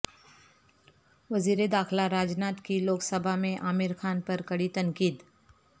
وزیر داخلہ راج ناتھ کی لوک سبھا میں عامر خان پر کڑی تنقید